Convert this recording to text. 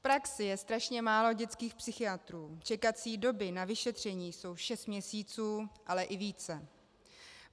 V praxi je strašně málo dětských psychiatrů, čekací doby na vyšetření jsou šest měsíců, ale i více.